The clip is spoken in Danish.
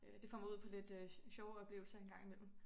Øh det får mig ud på lidt øh sjove oplevelser en gang i mellem